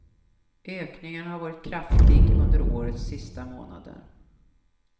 Ökningen har varit kraftig under årets sista månader.